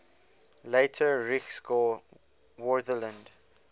later reichsgau wartheland